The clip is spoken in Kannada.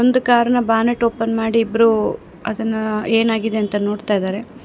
ಕಾರ್ ನ ಬಾನೆಟ್ ಓಪನ್ ಮಾಡಿ ಇಬ್ರು ಅದನ್ನ ಏನಾಗಿದೆ ಅಂತ ನೋಡ್ತಾ ಇದ್ದಾರೆ.